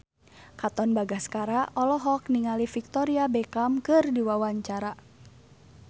Katon Bagaskara olohok ningali Victoria Beckham keur diwawancara